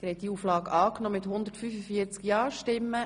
Sie haben Auflage 2 angenommen.